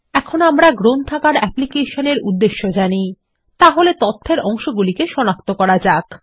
এখন আমরা library application এর উদ্দেশ্য জানি তাহলে তথ্যের অংশগুলিকে সনাক্ত করা যাক